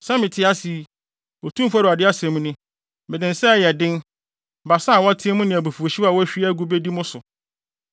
Sɛ mete ase yi, Otumfo Awurade asɛm ni, Mede nsa a ɛyɛ den, basa a wɔateɛ mu ne abufuwhyew a wɔahwie agu bedi mo so.